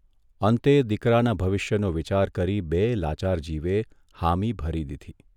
અંતે દીકરાના ભવિષ્યનો વિચાર કરી બેય લાચાર જીવે હામી ભરી દીધી.